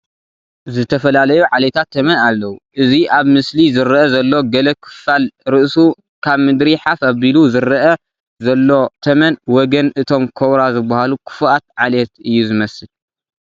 ዝተፈላለዩ ዓሌታት ተመን ኣለዉ፡፡ እዚ ኣብ ምስሊ ዝርአ ዘሎ ገለ ክፋል ርእሱ ካብ ምድሪ ሓፍ ኣቢሉ ዝርአ ዘሎ ተመን ወገን እቶም ኮብራ ዝበሃሉ ክፉኣት ዓሌት እዩ ዝመስል፡፡